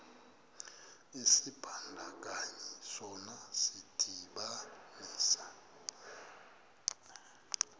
isibandakanyi sona sidibanisa